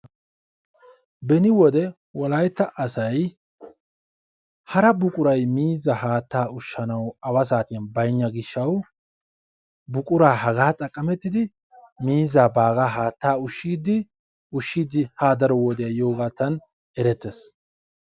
beni wode wolaytta asay hara buqquray miizzaa haattaa ushanawu baynna gishshawu buquraa hagaa xaqamettidi miizzaa haatta ushshiidi ha daro wodiyaa yoogaadan eretees.